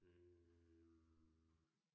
Øh